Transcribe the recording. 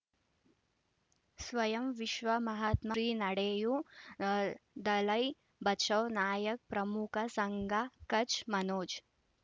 ಸ್ವಯಂ ವಿಶ್ವ ಮಹಾತ್ಮ ಶ್ರೀ ನಡೆಯೂ ದಲೈ ಬಚೌ ನಾಯಕ ಪ್ರಮುಖ ಸಂಘ ಕಚ್ ಮನೋಜ್